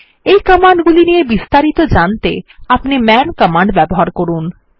এই কমান্ড গুলি নিয়ে বিস্তারিত জানতে আপনি মান কমান্ড ব্যবহার করুন